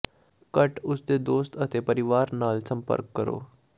ਘੱਟ ਉਸ ਦੇ ਦੋਸਤ ਅਤੇ ਪਰਿਵਾਰ ਨਾਲ ਸੰਪਰਕ ਕਰੋ